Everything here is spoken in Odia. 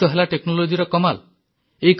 ଏଇତ ହେଲା Technologyର କମାଲ